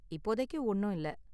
இப்போதைக்கு ஒன்னும் இல்ல.